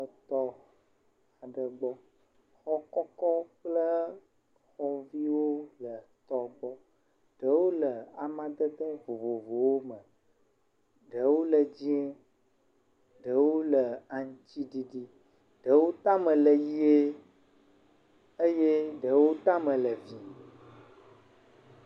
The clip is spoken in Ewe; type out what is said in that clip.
Le xɔ aɖe gbɔ. Xɔ kɔkɔ kple xɔviwo le tɔ gbɔ. Ɖewo le amadede vovovowo me. Ɖewo le dzi, ɖewo le aŋtsiɖiɖi, ɖewo tame le ʋie eye ɖewo tame le vii.